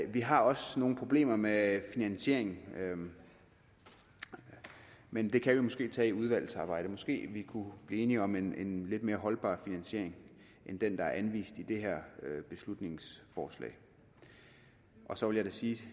vi har også nogle problemer med finansieringen men det kan vi måske tage i udvalgsarbejdet måske vi kunne blive enige om en lidt mere holdbar finansiering end den der er anvist i det her beslutningsforslag så vil jeg sige